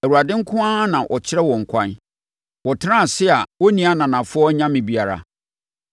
Awurade nko na ɔkyerɛ wɔn ɛkwan. Wɔtenaa ase a wɔnni ananafoɔ anyame biara.